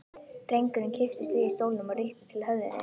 Drengurinn kipptist við í stólnum og rykkti til höfðinu.